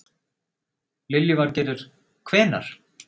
Lillý Valgerður: Hvenær?